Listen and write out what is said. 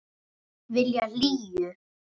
Vilja hlýju.